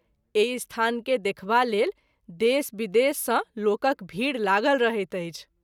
एहि स्थान के देखबा लेल देश विदेश सँ लोकक भीड़ लागल रहैत अछि।